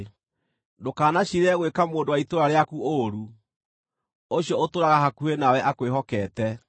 Ndũkanaciirĩre gwĩka mũndũ wa itũũra rĩaku ũũru, ũcio ũtũũraga hakuhĩ nawe akwĩhokete.